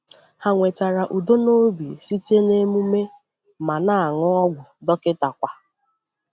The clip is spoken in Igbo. Hà nwetara udo n’obi site n’emume, ma nà-aṅụ ọgwụ dọkịta kwa.